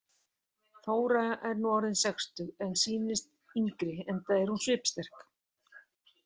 Þóra er nú orðin sextug en sýnist yngri enda er hún svipsterk.